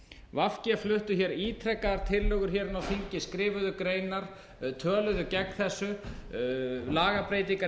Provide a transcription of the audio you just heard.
v g fluttu hér ítrekaðar tillögur hér inni á þingi skrifuðu greinar töluðu gegn þessu lagabreytingar